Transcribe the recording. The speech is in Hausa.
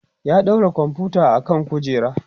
ya ɗaura komfuta akan kujera